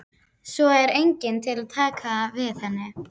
Svo er enginn til að taka við henni.